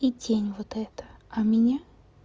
и тень вот эта а меня